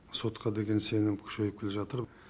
сотқа деген сенім күшейіп келе жатыр